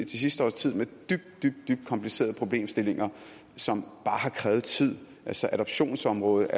sidste års tid med dybt dybt komplicerede problemstillinger som bare har krævet tid altså adoptionsområdet